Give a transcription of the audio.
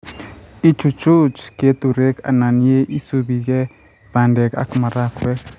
ichuchuk keturek anan ye isubige bandek ak marakwek